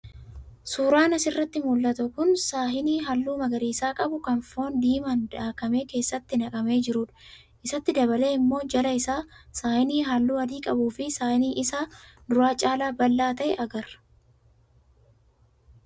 Suuraan asirraa mul'atu kun saahinii halluu magariisa qabu kan foon diimaan daakamee keessatti naqamee jirudha. Isatti dabalee immoo jala isaa saahinii halluu adii qabuu fi saahinii isa duraa caalaa bal'aa ta'e agarra.